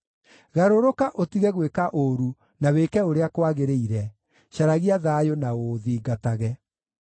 Garũrũka utige gwĩka ũũru na wĩke ũrĩa kwagĩrĩire; caragia thayũ na ũũthingatage.